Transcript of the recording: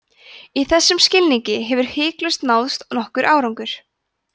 í þessum skilningi hefur hiklaust náðst nokkur árangur